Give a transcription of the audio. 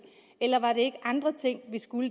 eller var det ikke andre ting vi skulle